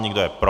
Kdo je pro?